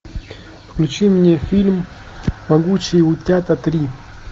включи мне фильм могучие утята три